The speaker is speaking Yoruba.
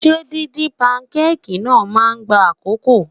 Ṣé díndín pankéèkì náà máa gba àkókò?